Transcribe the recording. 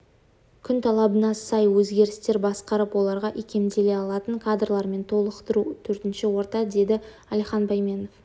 күн талабына сай өзгерістерді басқарып оларға икемделе алатын кадрлармен толықтыру төртіншісі орта деді алихан бәйменов